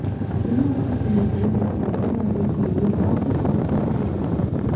यह आपके चेहरे पर एक मुस्कुराहट लाने के लिए हास्य का एक डैश लेता है